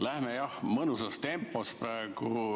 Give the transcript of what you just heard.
Läheme, jah, mõnusas tempos praegu.